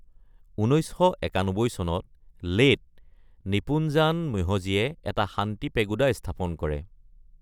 ১৯৯১ চনত লেত নিপোনজান ম্যোহোজীয়ে এটা শান্তি পেগোডা স্থাপন কৰে।